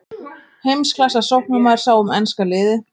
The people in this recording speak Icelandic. Heimsklassa sóknarmaður sá um enska liðið.